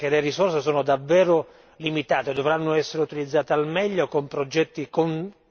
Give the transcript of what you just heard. è emerso chiaramente così come ringrazio la Presidenza che le risorse sono davvero limitate.